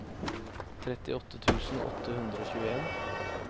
trettiåtte tusen åtte hundre og tjueen